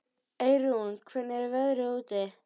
Eyrún, hvernig er veðrið úti?